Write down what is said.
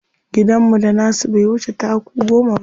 Gidanmu da nasu bai wuce taku goma ba.